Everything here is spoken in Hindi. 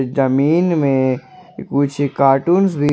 जमीन में कुछ कार्टून्स भी--